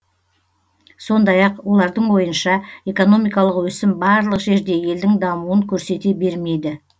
сондай ақ олардың ойынша экономикалық өсім барлық жерде елдің дамуын көрсете бермейді